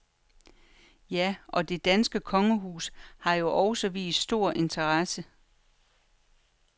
Ja, og det danske kongehus har jo også vist stor interesse.